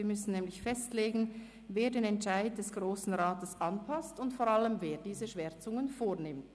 Wir müssen nämlich festlegen, wer den Entscheid des Grossen Rats anpasst und vor allem, wer diese Schwärzungen vornimmt.